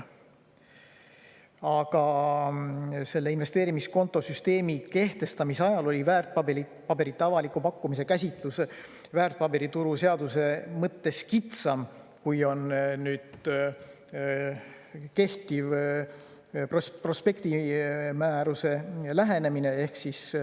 Aga selle investeerimiskontosüsteemi kehtestamise ajal oli väärtpaberite avaliku pakkumise käsitlus väärtpaberituru seaduse mõttes kitsam, kui on kehtiv prospektimääruse lähenemine.